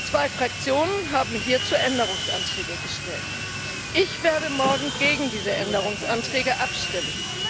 Zwei Fraktionen haben hierzu Änderungsanträge gestellt. Ich werde morgen gegen diese Änderungsanträge stimmen.